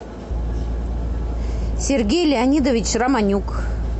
сергей леонидович романюк